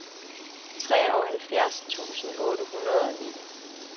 treoghalvfjerds tusind otte hundrede og ni